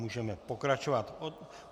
Můžeme pokračovat.